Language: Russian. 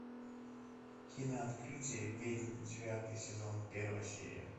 кино открытие ведьм девятый сезон первая серия